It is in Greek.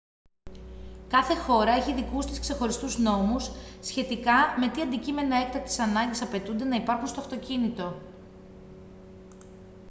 κάθε χώρα έχει δικούς της ξεχωριστούς νόμους σχετικά με τι αντικείμενα έκτακτης ανάγκης απαιτούνται να υπάρχουν στο αυτοκίνητο